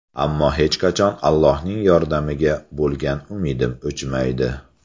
Ammo hech qachon Allohning yordamiga bo‘lgan umidim o‘chmaydi.